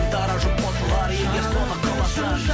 дара жұп қосылар егер соны қаласаң